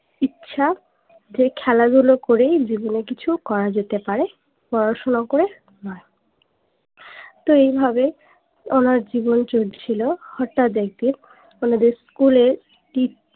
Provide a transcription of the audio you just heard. ইচ্ছা যে খেলাধুলা করেই জীবনে কিছু করা যেতে পারে পড়াশুনো করে নয় তো এই ভাবে ওনার জীবন চলছিলো হটাৎ একদিন ওনাদের স্কুল এ